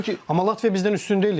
Amma Latviya bizdən üstün deyildi.